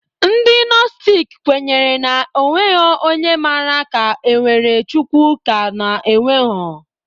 Ndị nostic kwenyere na onwegho onye mara ka enwere Chukwu ka ọ na enwegho